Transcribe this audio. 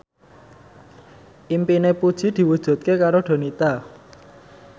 impine Puji diwujudke karo Donita